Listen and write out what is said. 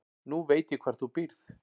Nú veit ég hvar þú býrð.